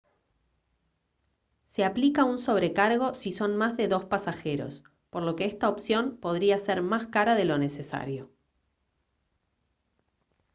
se aplica un sobrecargo si son más de dos pasajeros por lo que esta opción podría ser más cara de lo necesario